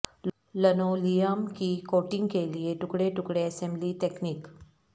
linoleum کی coating کے لئے ٹکڑے ٹکڑے اسمبلی تکنیک